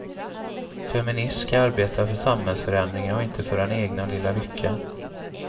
Feminism ska arbeta för samhällsförändringar och inte för den egna lilla lyckan.